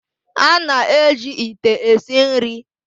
A na-eji ite esi nri.